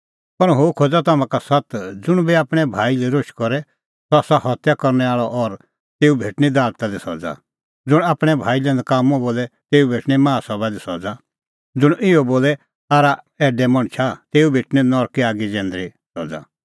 पर हुंह खोज़ा तम्हां का सत्त ज़ुंण बी आपणैं भाई लै रोश करे सह आसा हत्या करनै आल़अ और तेऊ भेटणीं दालता दी सज़ा ज़ुंण आपणैं भाई लै नकाम्मअ बोले तेऊ भेटणीं माहा सभा दी सज़ा ज़ुंण इहअ बोले आरा ऐडैआ तेऊ भेटणीं नरके आगी जैंदरी सज़ा